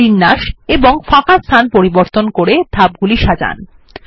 বিন্যাস এবং ফাঁকা স্থান পরিবর্তন করে ধাপগুলি সাজান